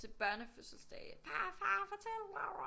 Til børnefødselsdage far far fortæl